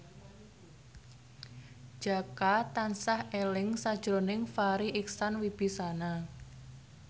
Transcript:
Jaka tansah eling sakjroning Farri Icksan Wibisana